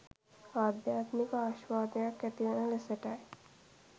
අධ්‍යාත්මික ආශ්වාදයත් ඇතිවන ලෙසටය.